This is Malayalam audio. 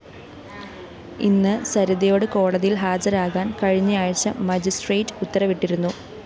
ഇന്ന് സരിതയോട് കോടതിയില്‍ ഹാജരാകാന്‍ കഴിഞ്ഞാഴ്ച മജിസ്ട്രേറ്റ്‌ ഉത്തരവിട്ടിരുന്നു